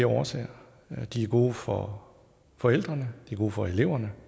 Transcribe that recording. årsager de er gode for forældrene de er gode for eleverne